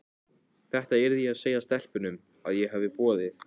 Þetta yrði ég að segja stelpunum, að ég hefði boðið